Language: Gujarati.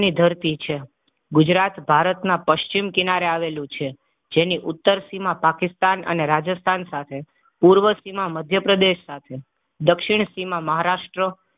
ધરતી છે ગુજરાત ભારતના પશ્ચિમ કિનારે આવેલું છે. જેની ઉત્તર સીમા પાકિસ્તાન અને રાજસ્થાન સાથે પૂર્વ સીમા મધ્ય પ્રદેશ સાથે દક્ષિણ સીમા મહારાષ્ટ્ર